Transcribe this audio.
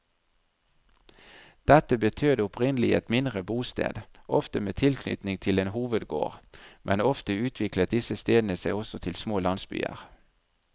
Dette betød opprinnelig et mindre bosted, ofte med tilknytning til en hovedgård, men ofte utviklet disse stedene seg også til små landsbyer.